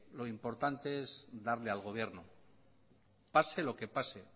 lo importante es darle al gobierno pase lo que pase